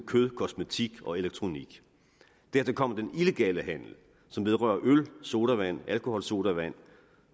kød kosmetik og elektronik dertil kommer den illegale handel som vedrører øl sodavand alkoholsodavand